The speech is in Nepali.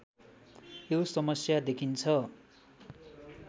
यो समस्या देखिन्छ